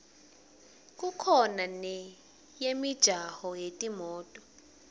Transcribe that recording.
kukhona neyemijaho yetimoto